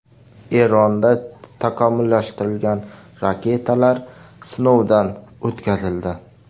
Eronda takomillashtirilgan raketalar sinovdan o‘tkazildi.